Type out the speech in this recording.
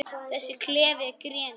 Þessi klefi er grenið.